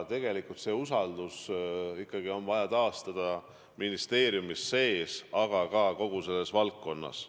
Tegelikult oli ikkagi vaja taastada usaldus ministeeriumis sees, aga ka kogu selles valdkonnas.